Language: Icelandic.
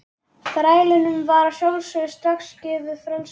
Þrælunum var að sjálfsögðu strax gefið frelsi.